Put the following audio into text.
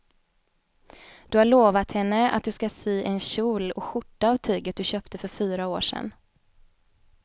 Du har lovat henne att du ska sy en kjol och skjorta av tyget du köpte för fyra år sedan.